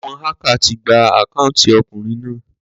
Àwon hacker ti gba account okùnrin náà